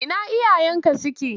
Ina iyayenka suke?